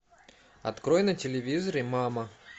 открой на телевизоре мама